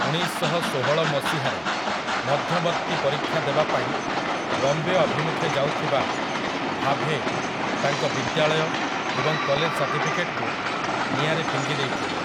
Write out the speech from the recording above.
ଉଣେଇଶଶହଷୋହଳ ମସିହାରେ, ମଧ୍ୟବର୍ତ୍ତୀ ପରୀକ୍ଷା ଦେବା ପାଇଁ ବମ୍ବେ ଅଭିମୁଖେ ଯାଉଥିବା ଭାଭେ ତାଙ୍କ ବିଦ୍ୟାଳୟ ଏବଂ କଲେଜ ସାର୍ଟିଫିକେଟ୍‌କୁ ନିଆଁରେ ଫିଙ୍ଗି ଦେଇଥିଲେ ।